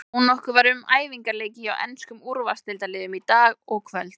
Þónokkuð var um æfingaleiki hjá enskum úrvalsdeildarliðum í dag og kvöld.